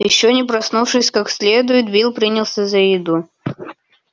ещё не проснувшись как следует билл принялся за еду